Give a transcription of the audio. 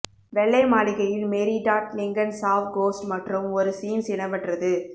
வெள்ளை மாளிகையில் Mary Todd Lincoln saw ghosts மற்றும் ஒரு சீன்ஸ் இடம்பெற்றது